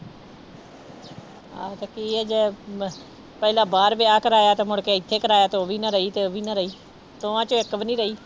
ਹਾਂ ਤੇ ਮ ਪਹਿਲਾਂ ਬਾਹਰ ਵਿਆਹ ਕਰਵਾਇਆ ਤੇ ਮੁੜਕੇ ਇੱਥੇ ਕਰਵਾਇਆ ਤੇ ਉਹ ਵੀ ਨਾ ਰਹੀ ਤੇ ਉਹ ਵੀ ਨਾ ਰਹੀ ਦੋਵਾਂ ਚੋਂ ਇੱਕ ਵੀ ਨੀ ਰਹੀ।